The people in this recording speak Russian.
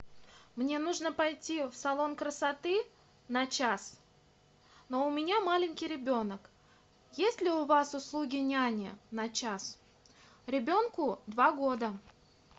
мне нужно пойти в салон красоты на час но у меня маленький ребенок есть ли у вас услуги няни на час ребенку два года